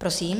Prosím.